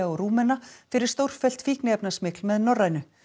og Rúmena fyrir stórfellt fíkniefnasmygl með Norrænu